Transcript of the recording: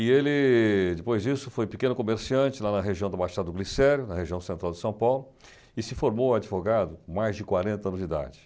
E ele, depois disso, foi pequeno comerciante lá na região do Machado Glicério, na região central de São Paulo, e se formou advogado com mais de quarenta anos de idade.